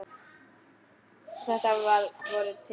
Þetta var að vori til.